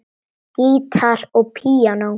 Gítar og píanó.